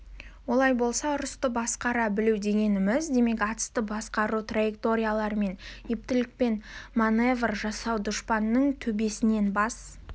олай болса ұрысты басқара білу дегеніміз демек атысты басқару траекториялармен ептілікпен маневр жасау дұшпанның төбесінен бас